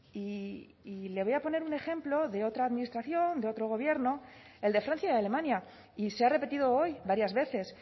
y le voy a poner un ejemplo de otra administración de otro gobierno el de francia y alemania y se ha repetido hoy varias veces